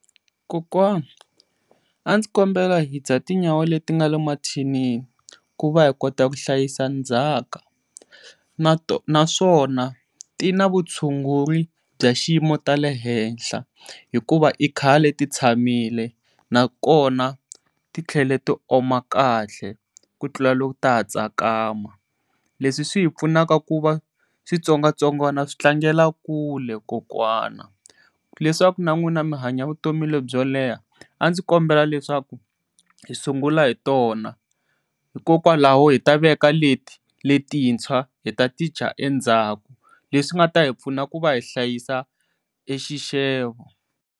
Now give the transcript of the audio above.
Kokwani andzi kombela hi dya tinyawa leti nga le mathinini ku va hi kota ku hlayisa ndzhaka naswona tina vutshunguri bya xiyimo ta le henhla hikuva i khale ti tshamile nakona titlhela ti oma kahle ku tlula loko ta ha tsakama leswi swi hi pfunaka kuva switsongwatsongwani swi tlangela kule kokwana leswaku na n'wina mi hanya vutomi byo leha. A ndzi kombela leswaku hi sungula hi tona hikokwalaho hi ta veka leti letintshwa hi ta ti dya endzhaku leswi nga ta hi pfuna kuva hi hlayisa e xixevo.